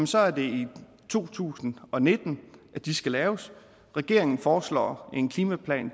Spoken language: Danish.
så er det i to tusind og nitten at de skal laves regeringen foreslår en klimaplan